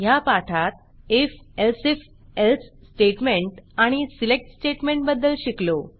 ह्या पाठात IF else if elseइफ एल्सइफ एल्स स्टेटमेंट आणि selectसिलेक्ट स्टेटमेंट बद्दल शिकलो